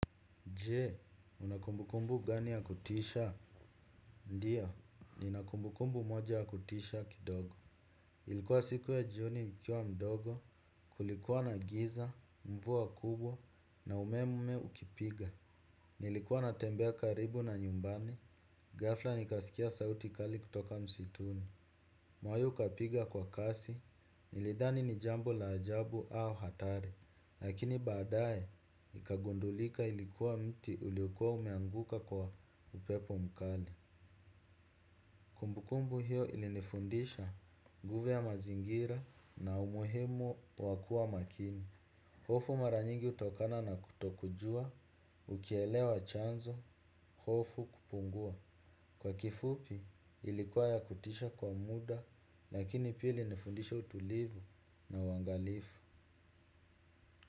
Jee, una kumbukumbu gani ya kutisha? Ndiyo, nina kumbukumbu moja ya kutisha kidogo. Ilikuwa siku ya jioni nikiwa mdogo, kulikuwa na giza, mvua kubwa, na umeme ukipiga. Nilikuwa natembea karibu na nyumbani, ghafla nikasikia sauti kali kutoka msituni. Moyo ukapiga kwa kasi nilidhani ni jambo la ajabu au hatari. Lakini baadaye ikagundulika ilikuwa mti uliokuwa umeanguka kwa upepo mkali. Kumbukumbu hiyo ilinifundisha nguvu ya mazingira na umuhimu wa kuwa makini. Hofu mara nyingi hutokana na kutokujua ukielewa chanzo, hofu hupungua. Kwa kifupi ilikuwa ya kutisha kwa muda lakini pia ilinifundisha utulivu na uangalifu.